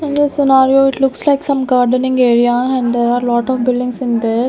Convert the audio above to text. in this scenario it looks like some gardening area and there are lot of buildings in there.